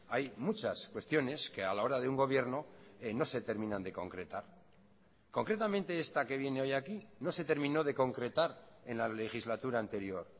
hay muchas cuestiones que a la hora de un gobierno no se terminan de concretar concretamente esta que viene hoy aquí no se terminó de concretar en la legislatura anterior